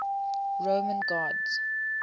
roman gods